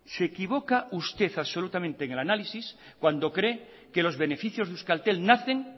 se equivoca usted absolutamente en el análisis cuando cree que los beneficios de euskaltel nacen